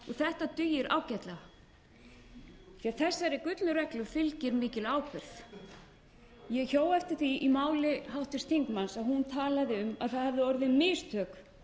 þetta dugir ágætlega því þessari gullnu reglu fylgir mikil ábyrgð ég hjó eftir því í máli háttvirts þingmanns að hún talaði um að það hefði orðið mistök